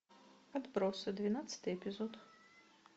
отбросы двенадцатый эпизод